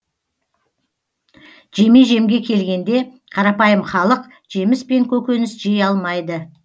жеме жемге келгенде қарапайым халық жеміс пен көкөніс жей алмайды